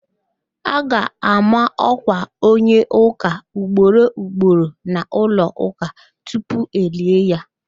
A ga-ama ọ̀kwà onye ụ̀ká ugboro ugboro n'ụlọụ̀ká tupu elie ya